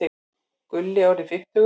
Gulli orðinn fimmtugur.